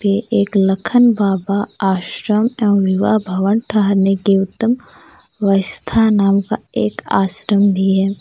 ये एक लखन बाबा आश्रम एवं विवाह भवन ठहरने के उत्तम व्यवस्था नाम का एक आश्रम भी है।